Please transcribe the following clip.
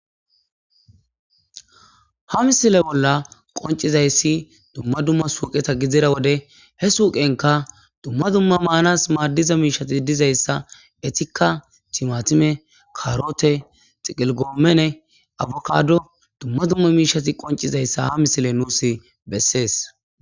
Ha misile bolla qoncizayssi dumma dumma suuqeta gidzira wode he suuqenka dumma dumma maanas maaddiza miishati dizayssa etika timatime karote xiqilgoomene abokado dumma dumma miishati qoncizayssa ha misile nuus bessees.